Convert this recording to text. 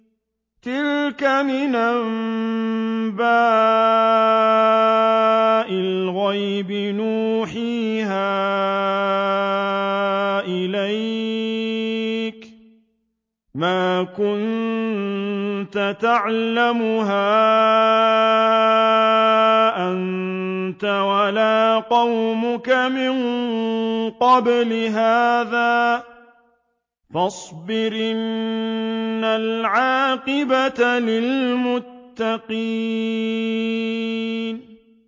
تِلْكَ مِنْ أَنبَاءِ الْغَيْبِ نُوحِيهَا إِلَيْكَ ۖ مَا كُنتَ تَعْلَمُهَا أَنتَ وَلَا قَوْمُكَ مِن قَبْلِ هَٰذَا ۖ فَاصْبِرْ ۖ إِنَّ الْعَاقِبَةَ لِلْمُتَّقِينَ